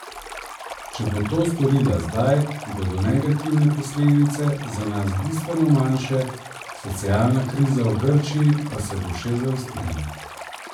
Če bo to storila zdaj, bodo negativne posledice za nas bistveno manjše, socialna kriza v Grčiji pa se bo še zaostrila.